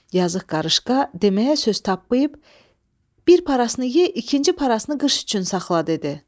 Yazıq qarışqa deməyə söz tapmayıb, bir parasını ye, ikinci parasını qış üçün saxla dedi.